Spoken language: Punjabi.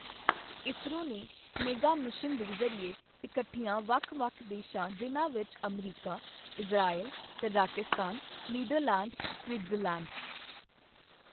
ਇਸਰੋ ਨੇ ਮੇਗਾ ਮਿਸ਼ਨ ਦੇ ਜ਼ਰੀਏ ਇਕੱਠਿਆਂ ਵੱਖ ਵੱਖ ਦੇਸ਼ਾਂ, ਜਿਨ੍ਹਾਂ ਵਿੱਚ America, Israel, Kazakhstan, Netherland, Switzerland